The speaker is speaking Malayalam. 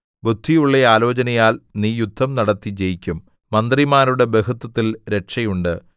ബുദ്ധിയുള്ള ആലോചനയാൽ നീ യുദ്ധം നടത്തി ജയിക്കും മന്ത്രിമാരുടെ ബഹുത്വത്തിൽ രക്ഷയുണ്ട്